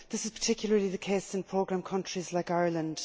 This is particularly the case in programme countries like Ireland.